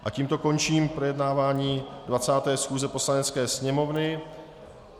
A tímto končím projednávání 20. schůze Poslanecké sněmovny.